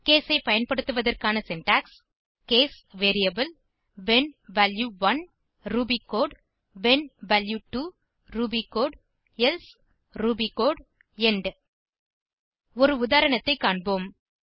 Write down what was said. case ஐ பயன்படுத்துவதற்கான syntax case variable when value 1 Ruby code when value 2 Ruby code else Ruby code end ஒரு உதாரணத்தை காண்போம்